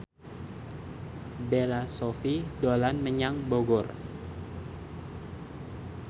Bella Shofie dolan menyang Bogor